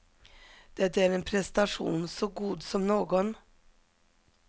Det är en prestation så god som någon.